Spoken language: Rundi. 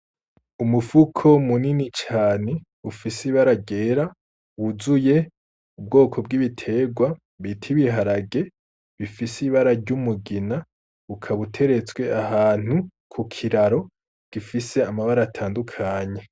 Umufuko munini cane ufise ibara ryera wuzuye ubwoko bw'ibitegwa bifise ibara ry'umugina ukaba uteretswe kukiraro gifise amabara atandukanye.